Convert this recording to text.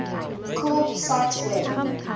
called cite web